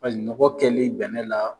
Paseke nɔgɔ kɛli bɛnɛ la